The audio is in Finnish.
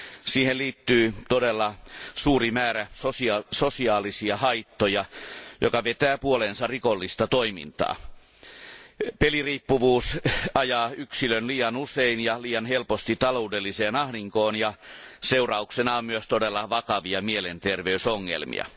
Siihen liittyy todella suuri määrä sosiaalisia haittoja, jotka vetävät puoleensa rikollista toimintaa. Peliriippuvuus ajaa yksilön liian usein ja liian helposti taloudelliseen ahdinkoon ja seurauksena on myös todella vakavia mielenterveysongelmia.